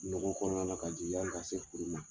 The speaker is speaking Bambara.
Nogo kɔnɔna na ka jigin yani ka se furu ma.